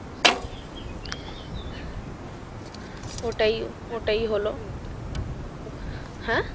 ওটাই ওটাই হ্যাঁ,